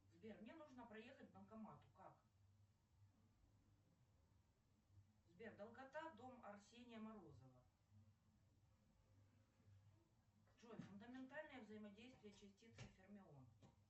сбер мне нужно проехать к банкомату как сбер долгота дом арсения морозова джой фундаментальное взаимодействие частицы фермион